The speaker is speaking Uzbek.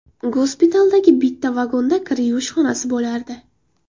Gospitaldagi bitta vagonda kir yuvish xonasi bo‘lardi.